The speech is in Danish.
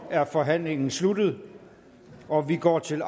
er forhandlingen sluttet og vi går til